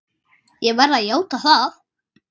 Ég verð að játa það!